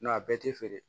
a bɛɛ tɛ feere